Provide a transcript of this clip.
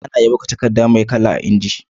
Ana iya buga takadda me kala a inji